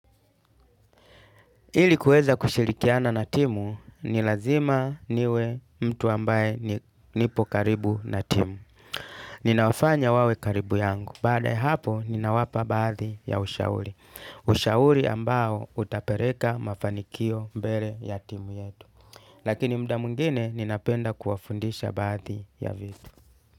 Ili kuweza kushirikiana na timu, ni lazima niwe mtu ambaye nipo karibu na timu. Ninawafanya wawe karibu yangu. Baada ya hapo, ninawapa baadhi ya ushauri. Ushauri ambao utapereka mafanikio mbele ya timu yetu. Lakini mda mungine, ninapenda kuwafundisha baadhi ya vitu.